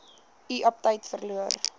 u aptyt verloor